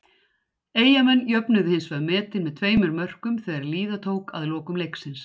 Eyjamenn jöfnuðu hins vegar metin með tveimur mörkum þegar líða tók að lokum leiksins.